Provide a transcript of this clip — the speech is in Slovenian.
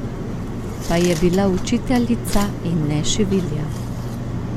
Pa je bila učiteljica, in ne šivilja.